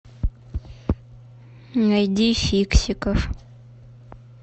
найди фиксиков